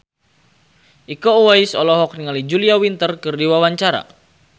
Iko Uwais olohok ningali Julia Winter keur diwawancara